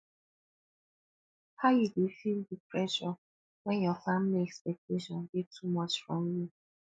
how you dey feel di pressure when your family expectation dey too much from you